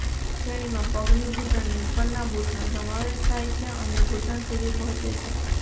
આ શ્રેણીમાં પગની ઘૂંટણની ઉપરના બૂટનો સમાવેશ થાય છે અને ઘૂંટણ સુધી પહોંચે છે